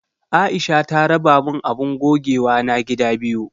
Aisha ta raba min abun gogewana gida biyu.